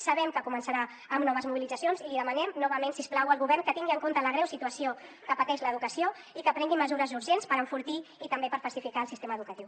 sabem que començarà amb noves mobilitzacions i li demanem novament si us plau al govern que tingui en compte la greu situació que pateix l’educació i que prengui mesures urgents per enfortir i també per pacificar el sistema educatiu